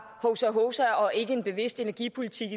hovsa hovsa og ikke en bevidst energipolitik